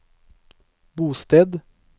bosted